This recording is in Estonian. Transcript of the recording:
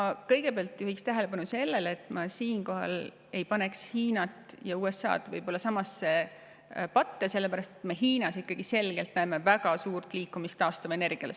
Ma kõigepealt juhiks tähelepanu sellele, et ma siinkohal ei paneks Hiinat ja USA-d samasse patta, sellepärast et me Hiinas näeme ikkagi selgelt väga suurt liikumist taastuvenergia suunas.